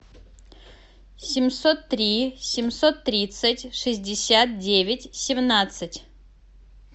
семьсот три семьсот тридцать шестьдесят девять семнадцать